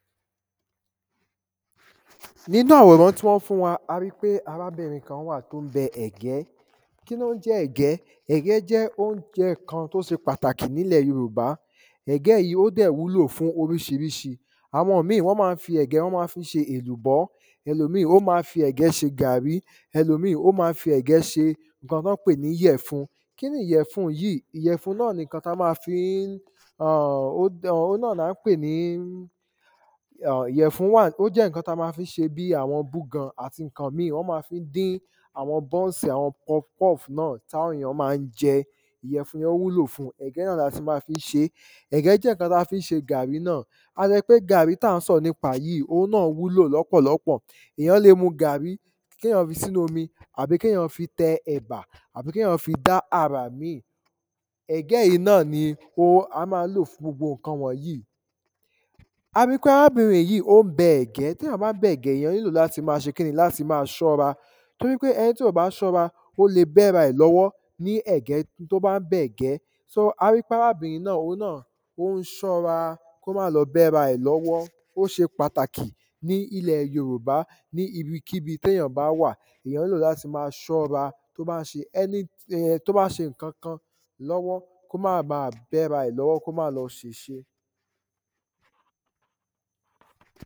nínú àwòrán tí wọ́n fún wa ari pé arábìrin kan wà tó ń bẹ ẹ̀gẹ́ kí ló ń jẹ́ ẹ̀gẹ́ ẹ̀gẹ́ jẹ́ oúnjẹ kan tí ó ṣe pàtàkì ní ilẹ̀ yorùbá ẹ̀gẹ́ yìí ó dẹ̀ wúlò fún oríṣiríṣi àwọn míì, wọ́n ma ń fi ẹ̀gẹ́, wọ́n ma fi ń ṣe èlùbọ́ elòmíì ó ma ń fi ẹ̀gẹ́ ṣe gàrí elòmíì ó ma ń fi ẹ̀gẹ́ ṣe ǹkan tí wọ́n pè ní ìyẹ̀fun kíni ìyẹ̀fun yí ìyẹ̀fun náà ni ǹkan tí a ma fi ń urh…òhun náà ni a ń pè ní ìyèfun wá ó jẹ́ ǹkan ta ma ń fi ṣe bí àwọn búgan àti ǹkan míì wọ́n ma fi ń dín àwọn bọ́ńsì, àwọn pọfupọ́fù náà tàwọn èyàn ma ń jẹ́ ìyèfùn yẹn ó wúlò fún ẹ̀gẹ́ náà la ti má fi ń ṣe é ẹ̀gẹ́ jẹ́ ǹkan tá fi ń ṣe gàrí náà a lè ṣọ pé gàrí táà ń sọ̀rọ̀ nípa yí, òhun náà wúlò lọ́pọ̀lọpọ̀ èyàn lè mu gàrí kéyàn fi sínú omi àbí kéyàn fi tẹ ẹ̀bà àbí kéyàn fi dá àrà míì ẹ̀gẹ́ yìí náà ni o a máa ń lò fún gbogbo ǹkan wọ̀nyí ari pé arábìrin yìí ó ń bẹ ẹ̀gẹ́ téyàn bá ń bẹ ẹ̀gẹ́, èyàn nílò láti ma ṣe kíni, láti ma ṣọ́ra torípé ẹni tí ò bá ṣọ́ra, ó lè bẹ́ra ẹ̀ lọ́wọ́ ni ẹ̀gẹ́ tó bá ń bẹ̀gẹ́ so ari pé arábìrin náà òhun náà ó ń ṣọ́ra kó má lọ bẹ́ra ẹ̀ lọ́wọ́ ó ṣe pàtàkì ní ilẹ̀ yorùbá ní ibikíbi téyàn bá wà èyàn nílò láti ma ṣọ́ra tó bá ṣe any tó bá ń ṣe ǹkankan lọ́wọ́ kó má ba bẹ́ra ẹ̀ lọ́wọ́ kó má lọ ṣèṣe